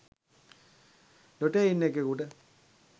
ඩොටේ ඉන්න එකෙකුට